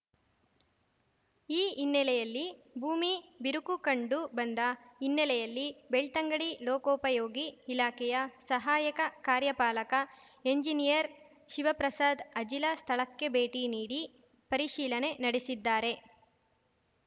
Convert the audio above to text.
ಈ ಹಿನ್ನಲೆಯಲ್ಲಿ ಭೂಮಿ ಬಿರುಕು ಕಂಡು ಬಂದ ಹಿನ್ನಲೆಯಲ್ಲಿ ಬೆಳ್ತಂಗಡಿ ಲೋಕೋಪಯೋಗಿ ಇಲಾಖೆಯ ಸಹಾಯಕ ಕಾರ್ಯಪಾಲಕ ಎಂಜಿನಿಯರ್‌ ಶಿವಪ್ರಸಾದ್‌ ಅಜಿಲ ಸ್ಥಳಕ್ಕೆ ಭೇಟಿ ನೀಡಿ ಪರಿಶೀಲನೆ ನಡೆಸಿದ್ದಾರೆ